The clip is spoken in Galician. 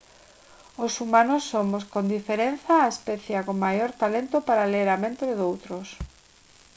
os humanos somos con diferenza a especie con maior talento para ler a mente doutros